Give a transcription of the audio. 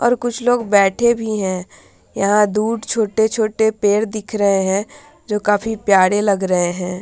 और कुछ लोग बैठे भी है यहाँ दूर छोटे-छोटे पेड़ दिख रहे हैं जो काफी प्यारे लग रहे हैं।